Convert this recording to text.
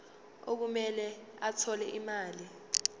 okumele athole imali